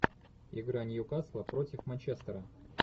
игра ньюкасла против манчестера